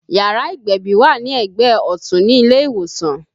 Yàrá ìgbẹ̀bì wà ní ẹgbẹ́ ọtun ní ilé ìwòsàn